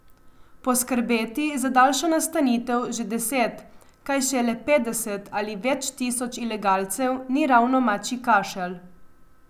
Poskrbeti za daljšo nastanitev že deset, kaj šele petdeset ali več tisoč ilegalcev, ni ravno mačji kašelj.